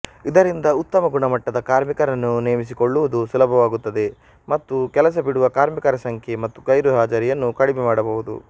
ಇದರಿಂದ ಉತ್ತಮಗುಣಮಟ್ಟದ ಕಾರ್ಮಿಕರನ್ನು ನೇಮಿಸಿಕೊಳ್ಳೂವುದು ಸುಲಭವಾಗುತ್ತದೆ ಮತ್ತು ಕೆಲಸಬಿಡುವ ಕಾರ್ಮಿಕರ ಸಂಖ್ಯೆ ಮತ್ತು ಗೈರುಹಾಜರಿಯನ್ನು ಕಡಿಮೆ ಮಾಡಬಹುದು